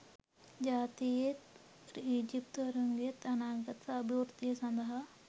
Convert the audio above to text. ජාතියේත් ඊජිප්තුවරුන්ගේත් අනාගත අභිවෘද්ධිය සඳහා